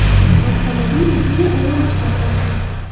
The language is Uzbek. Avtomobil butunlay olov ichida qolgan.